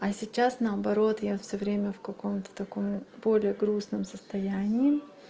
а сейчас наоборот я всё время в каком-то такой более грустном состоянии